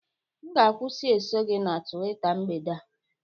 M ga- akwusi eso gị na Tuweeta mgbede a